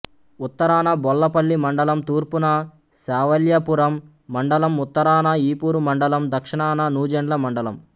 ఉత్తరాన బోళ్ళపల్లి మండలం తూర్పున శావల్యాపురం మండలం ఉత్తరాన ఈపూరు మండలం దక్షణాన నూజెండ్ల మండలం